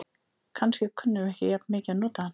Kannski kunnum við ekki jafn mikið að nota hann.